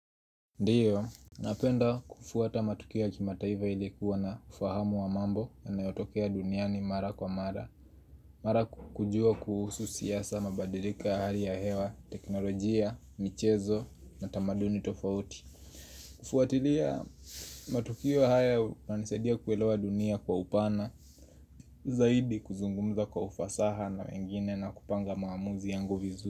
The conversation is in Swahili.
Ndio, napenda kufuata matukio ya kimataifa ili kuwa na ufahamu wa mambo yanayotokea duniani mara kwa mara Mara kujua kuhusu siasa, mabadiliko ya hali ya hewa, teknolojia, michezo, na tamaduni tofauti kufuatilia matukio haya nanisaidia kuelewa dunia kwa upana Zaidi kuzungumza kwa ufasaha na wengine na kupanga maamuzi yangu vizuri.